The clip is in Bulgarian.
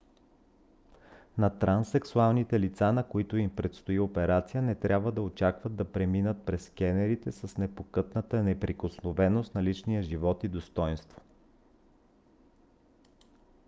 на транссексуалните лица на които им предстои операция не трябва да очакват да преминат през скенерите с непокътната неприкосновеност на личния живот и достойнство